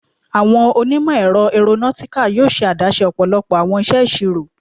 Awọn onimọ-ẹrọ Aeronautical yoo ṣe adaṣe ọpọlọpọ awọn iṣeṣiro